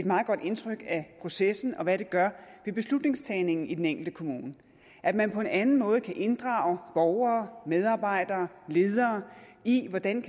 meget godt indtryk af processen og af hvad det gør ved beslutningstagningen i den enkelte kommune at man på en anden måde kan inddrage borgere medarbejdere og ledere i hvordan